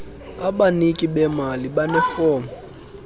abaniki bemali banefom